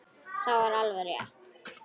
Það var alveg rétt.